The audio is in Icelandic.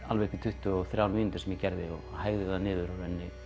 alveg upp í tuttugu og þrjár mínútur sem ég gerði og hægði það niður og